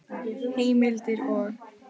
Heimildir og